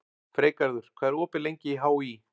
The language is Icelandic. Freygarður, hvað er opið lengi í HÍ?